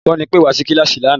Olùkọ́ni pẹ́ wá sí kíláàsì lánàá